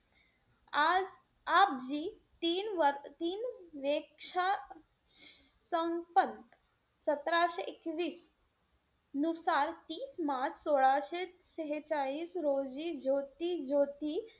आज आपजी तीन-तीन वेक्षा सतराशे एकवीस नुसार तीस मार्च सोळाशे शेहेचाळीस रोजी ज्योती-ज्योती,